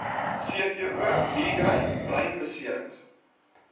cvo migraine breinbeserings